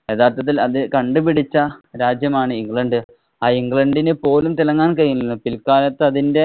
യഥാര്‍ത്ഥത്തില്‍ അത് കണ്ടുപിടിച്ച രാജ്യമാണ് ഇംഗ്ലണ്ട്. ആ ഇംഗ്ലണ്ടിനു പോലും തിളങ്ങാന്‍ കഴിഞ്ഞില്ല. പില്‍ക്കാലത്ത് അതിന്‍റെ